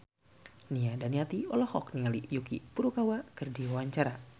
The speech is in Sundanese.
Nia Daniati olohok ningali Yuki Furukawa keur diwawancara